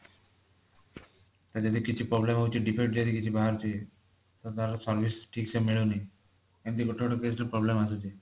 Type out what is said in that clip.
ତ ଯଦି କିଛି problem ହଉଛି defeat ଯଦି କିଛି ବାହାରୁଛି ତ ତାର service ଠିକସେ ମିଳୁନି ଏମିତି ଗୋଟେ ଗୋଟେ page ରେ problem ଆସୁଛି